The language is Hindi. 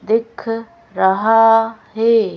दिख रहा है।